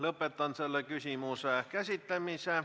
Lõpetan selle küsimuse käsitlemise.